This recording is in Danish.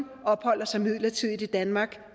opholder sig midlertidigt i danmark